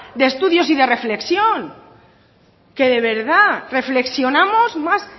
de estudios y de reflexión que de verdad reflexionamos más